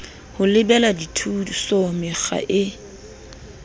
ho lebela dithuso mekga e